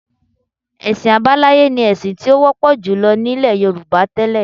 Ẹ̀sìn àbáláyé ni ẹ̀sìn tí ó wọ́pọ̀ jùlọ nílẹ̀ Yorùbá tẹ́lẹ̀